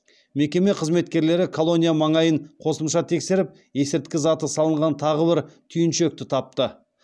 мекеме қызметкерлері колония маңайын қосымша тексеріп есірткі заты салынған тағы бір түйіншекті тапты